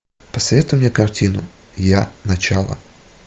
посоветуй мне картину я начало